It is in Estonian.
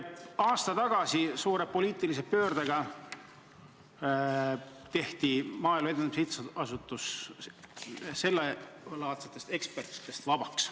Aasta tagasi tehti suure poliitilise pöördega Maaelu Edendamise Sihtasutuse nõukogu sellelaadsetest ekspertidest vabaks.